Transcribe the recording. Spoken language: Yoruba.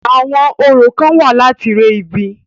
Àwọn orò kán wà láti re ibi.